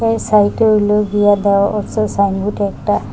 এই সাইড -এ হইলো গিয়া দেওয়া আছে সাইনবোর্ড একটা।